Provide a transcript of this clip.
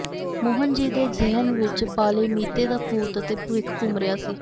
ਮੋਹਨ ਜੀ ਦੇ ਜ਼ਿਹਨ ਵਿਚ ਪਾਲੇ ਮੀਤੇ ਦਾ ਭੂਤ ਅਤੇ ਭਵਿੱਖ ਘੁੰਮ ਰਿਹਾ ਸੀ